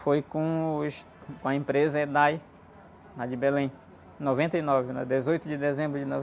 Foi com os, com a empresa, lá de Belém, em noventa e nove, né? Dezoito de dezembro de